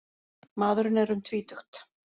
Maðurinn er um tvítugt